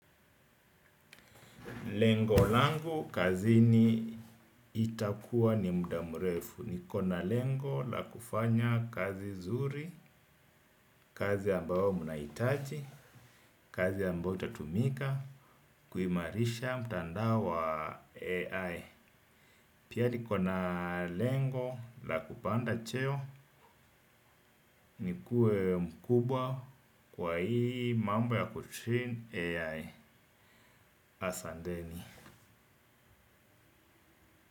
Lengo langu, kazini itakuwa ni muda mrefu. Nikona lengo la kufanya kazi zuri, kazi ambayo mnahitaji, kazi ambayo itatumika, kuimarisha mtandao wa AI. Pia nikona lengo la kupanda cheo, nikue mkubwa kwa hii mambo ya kutrain AI asanteni.